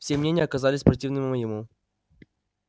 все мнения оказались противными моему